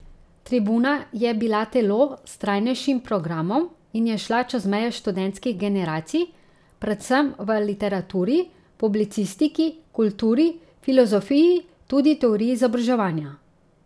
Tribuna je bila telo s trajnejšim programom in je šla čez meje študentskih generacij, predvsem v literaturi, publicistiki, kulturi, filozofiji, tudi teoriji izobraževanja.